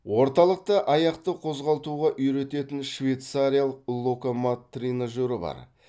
орталықта аяқты қозғалтуға үйрететін швецариялық локомат тренажері бар